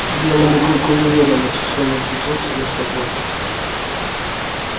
белому клыку не верилось что он очутился на свободе